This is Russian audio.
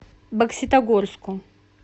бокситогорску